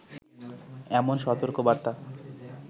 এমন সতর্ক বার্তা